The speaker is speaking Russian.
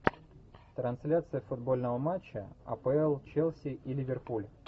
трансляция футбольного матча апл челси и ливерпуль